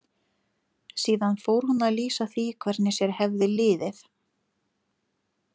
Síðan fór hún að lýsa því hvernig sér hefði liðið.